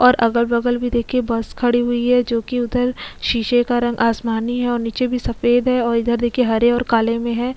और अगल-बगल में देखिए बस खड़ी हुई है जो कि उधर शीशे का रंग आसमानी है और नीचे भी सफेद है और इधर देखिए हरे और काले में है।